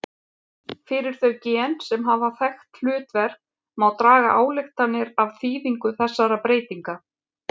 Fyrir þau gen sem hafa þekkt hlutverk má draga ályktanir af þýðingu þessara breytinga.